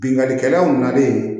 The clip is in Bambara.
Bingani kɛlaw nalen